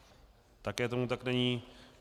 Také tomu tak není.